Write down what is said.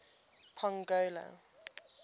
pongola